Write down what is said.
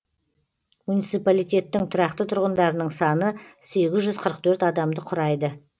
муниципалитеттің тұрақты тұрғындарының саны сегіз жүз қырық төрт адамды құрайды